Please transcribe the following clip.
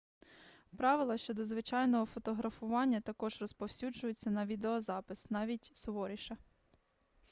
правила щодо звичайного фотографування також розповсюджуються на відеозапис навіть суворіше